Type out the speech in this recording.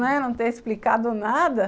Não é, não ter explicado nada.